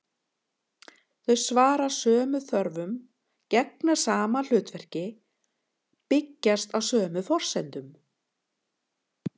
Þau svara sömu þörfum, gegna sama hlutverki, byggjast á sömu forsendum.